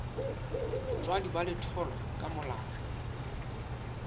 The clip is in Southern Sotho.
botswadi ba letholwa ka molao